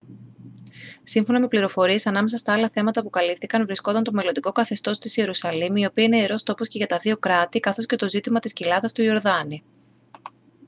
σύμφωνα με πληροφορίες ανάμεσα στα άλλα θέματα που καλύφθηκαν βρισκόταν το μελλοντικό καθεστώς της ιερουσαλήμ η οποία είναι ιερός τόπος και για τα δύο κράτη καθώς και το ζήτημα της κοιλάδας του ιορδάνη